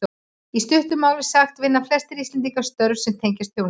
Í stuttu máli sagt vinna flestir Íslendingar störf sem tengjast þjónustu.